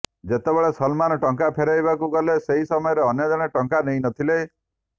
ଯେତେବେଳେ ସଲମାନ୍ ଟଙ୍କା ଫେରାଇବାକୁ ଗଲେ ସେହି ସମୟରେ ଅନ୍ୟଜଣେ ଟଙ୍କା ନେଇନଥିଲେ